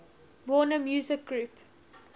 warner music group